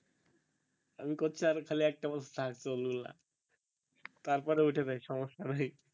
আমি কইছি আর খালি একটা বছর থাক চুল গুলা তারপরে উইঠা যাক সমস্যা নাই